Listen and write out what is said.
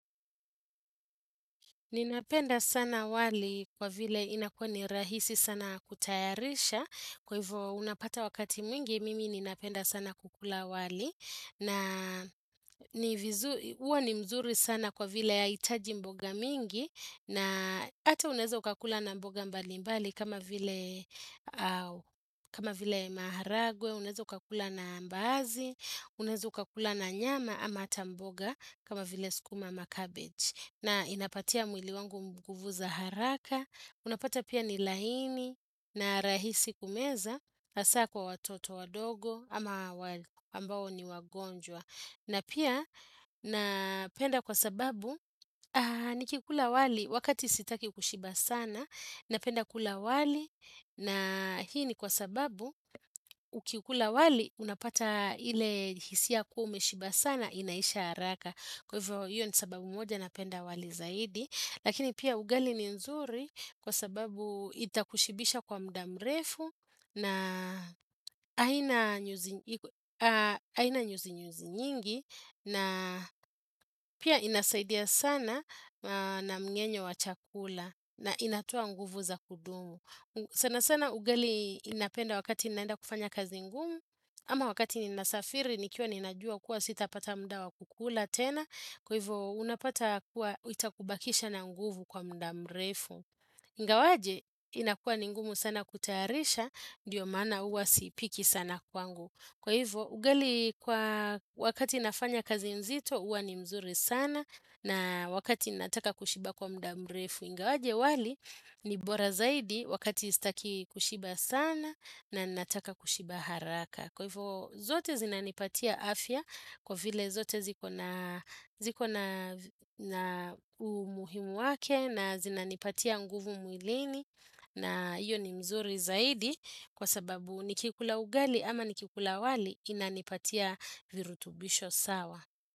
Ninapenda sana wali kwa vile inakuwa ni rahisi sana kutayarisha kwa hivyo unapata wakati mwingi mimi ninapenda sana kukula wali na huwa ni mzuri sana kwa vile haihitaji mboga mingi na Hata unaweza ukakula na mboga mbalimbali kama vile maharagwe, unaweza ukakula na mbaazi, unaweza ukakula na nyama ama hata mboga kama vile sukuma ama cabbage. Na inapatia mwili wangu nguvu za haraka, unapata pia ni laini na rahisi kumeza, hasaa kwa watoto wadogo ama ambao ni wagonjwa. Na pia napenda kwa sababu, nikikula wali wakati sitaki kushiba sana, napenda kula wali na hii ni kwa sababu, ukiukula wali unapata ile hisia kuwa umeshiba sana inaisha haraka. Kwa hivyo hiyo ni sababu moja napenda wali zaidi. Lakini pia ugali ni nzuri kwa sababu itakushibisha kwa muda mrefu na haina nyuzinyuzi nyingi na pia inasaidia sana na mngenyo wa chakula na inatoa nguvu za kudumu sana sana ugali inapenda wakati ninaenda kufanya kazi ngumu ama wakati ninasafiri nikiwa ninajua kuwa sitapata muda wa kukula tena kwa hivyo unapata kuwa itakubakisha na nguvu kwa muda mrefu Ingawaje inakuwa ni ngumu sana kutayarisha. Ndiyo maana huwa siipiki sana kwangu Kwa hivyo ugali kwa wakati nafanya kazi nzito huwa ni mzuri sana na wakati nataka kushiba kwa muda mrefu. Ingawaje wali ni bora zaidi wakati sitaki kushiba sana na ninataka kushiba haraka. Kwa hivyo zote zinanipatia afya kwa vile zote ziko na ziko na umuhimu wake na zinanipatia nguvu mwilini na hiyo ni mzuri zaidi kwa sababu nikikula ugali ama nikikula wali inanipatia virutubisho sawa.